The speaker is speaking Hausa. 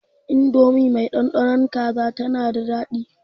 Indomi mai ɗanɗanon kaza tana da daɗi.